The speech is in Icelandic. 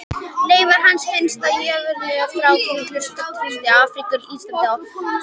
Leifar hans finnast í jarðlögum frá fyrri hluta trías í Afríku, Indlandi og á Suðurskautslandinu.